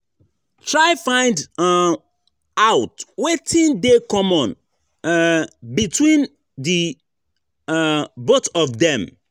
Try find [um]out wetin de common um between di [um]both of dem